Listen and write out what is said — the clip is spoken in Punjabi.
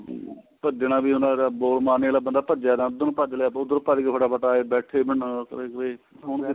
ਹਮ ਭਜਣਾ ਵੀ ਉਹਨਾ ਦਾ ਬਹੁਤ ਮਾਨੇ ਆਲਾ ਭਜਿਆ ਉੱਧਰ ਨੂੰ ਭੱਜ ਲਿਆ ਉੱਧਰ ਨੂੰ ਭੱਜਗੇ ਫਟਾਫਟ ਆਏ ਬੈਠੇ ਮਨਾ ਕੋਈ ਕੋਈ ਹੁਣ